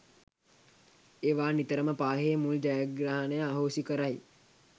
ඒවා නිතරම පාහේ මුල් ජයග්‍රහණය අහෝසි කරයි